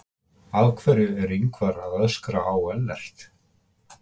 Af hverju er Ingvar að öskra á Ellert?